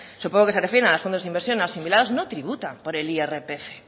supongo que se refieren a los fondos de inversión no asimilados no tributan por el irpf